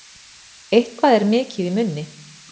Eitthvað er mikið í munni